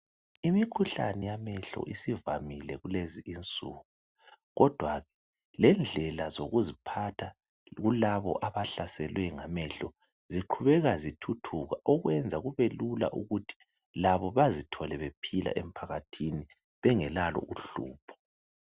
Imikhuhlane yamehlo isivamile kulezi insuku kodwa lendlela zokuziphatha kulabo abahlaselwe ngamehlo ziqhubeka zithuthuka okwenza kubelula ukuthi labo bazithole bephila emphakathini bengelalo uhlupho.